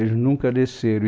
Eles nunca desceram.